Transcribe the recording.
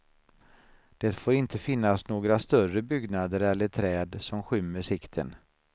Det får inte finnas några större byggnader eller träd som skymmer sikten.